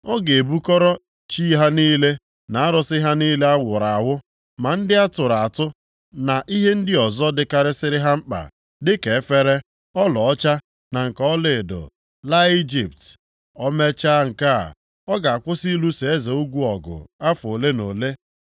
Ọ ga-ebukọrọ chi ha niile na arụsị ha niile awụrụ awụ ma ndị atụrụ atụ, na ihe ndị ọzọ dịkarịsịrị ha mkpa dịka efere, ọlaọcha na nke ọlaedo laa Ijipt. O mechaa nke a, ọ ga-akwụsị ịlụso eze ugwu ọgụ afọ ole na ole.